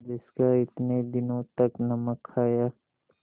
जिसका इतने दिनों तक नमक खाया